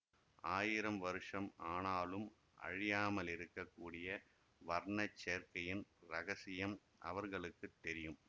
ஆயிரம் வருஷம் ஆனாலும் அழியாமலிருக்கக் கூடிய வர்ணச் சேர்க்கையின் இரகசியம் அவர்களுக்கு தெரியும்